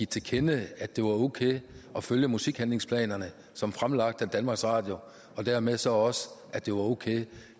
til kende at det var okay at følge musikhandlingsplanerne som fremlagt af danmarks radio og dermed så også at det var okay